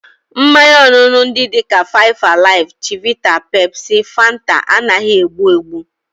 Mmanya ọṅụṅụ ndị dị ka five alive, chivita, Pepsi, Fanta, anaghị egbu egbu